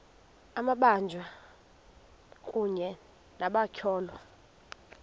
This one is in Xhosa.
amabanjwa kunye nabatyholwa